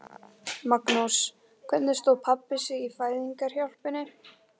Magnús: Hvernig stóð pabbi sig í fæðingarhjálpinni?